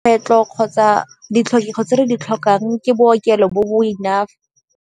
kgotsa di tse re di tlhokang ke bookelo bo bo enough.